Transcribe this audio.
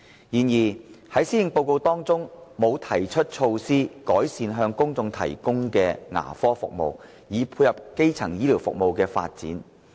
然而，《施政報告》沒有提出措施，改善向公眾提供的牙科服務，以配合基層醫療服務的發展。